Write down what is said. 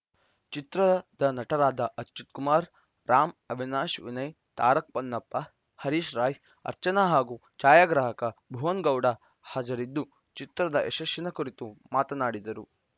ಚಿತ್ರದ ನಟರಾದ ಅಚ್ಯುತ್‌ ಕುಮಾರ್‌ ರಾಮ್‌ ಅವಿನಾಶ್‌ ವಿನಯ್‌ ತಾರಕ್‌ ಪೊನ್ನಪ್ಪ ಹರೀಶ್‌ ರಾಯ್‌ ಅರ್ಚನಾ ಹಾಗೂ ಛಾಯಾಗ್ರಾಹಕ ಭುವನ್‌ ಗೌಡ ಕೂಡ ಹಾಜರಿದ್ದು ಚಿತ್ರದ ಯಶಸ್ಸಿನ ಕುರಿತು ಮಾತನಾಡಿದರು